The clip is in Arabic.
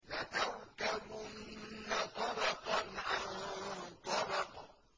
لَتَرْكَبُنَّ طَبَقًا عَن طَبَقٍ